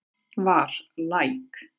Var læk